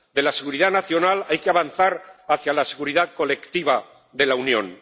De la seguridad nacional hay que avanzar hacia la seguridad colectiva de la Unión